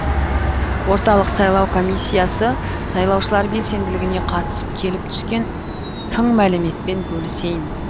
орталық сайлау комиссиясы сайлаушылар белсенділігіне қатысты келіп түскен тың мәліметпен бөлісейін